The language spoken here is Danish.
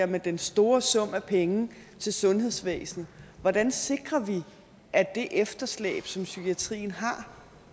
med den store sum af penge til sundhedsvæsenet hvordan sikrer vi at det efterslæb som psykiatrien har